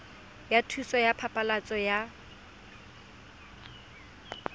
ya thuso ya phasalatso ya